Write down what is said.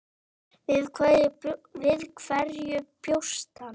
Við hverju bjóst hann?